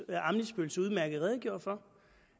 udmærket redegjorde for